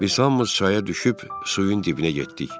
Biz hamımız çaya düşüb suyun dibinə getdik.